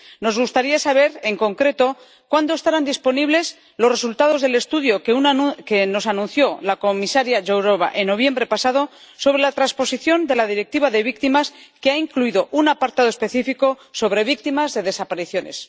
Nos gustaría saber en concreto cuándo estarán disponibles los resultados del estudio que nos anunció la comisaria Jourová en noviembre pasado, sobre la transposición de la Directiva sobre las víctimas, que ha incluido un apartado específico sobre víctimas de desapariciones.